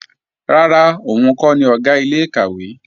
Rárá, òun kọ́ ni Ọ̀gá ilé-ìkàwé